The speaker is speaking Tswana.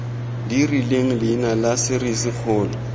di rileng leina la serisikgolo